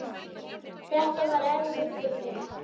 Þetta var erfitt fyrir mig.